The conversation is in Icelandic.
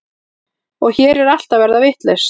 Og hér er allt að verða vitlaust.